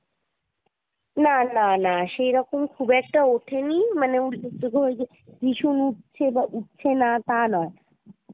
না না না সেরকম খুব একটা ওঠে নি মানে ভীষণ উঠছে বা উঠছে না তা না।